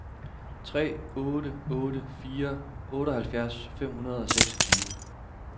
tre otte otte fire otteoghalvfjerds fem hundrede og seksogtyve